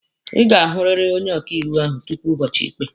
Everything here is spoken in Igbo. Ị ga-ahụrịrị onye ọkaịkpe ahụ tupu ụbọchị ikpe!